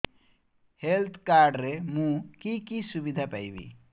health card ରେ ମୁଁ କି କି ସୁବିଧା ପାଇବି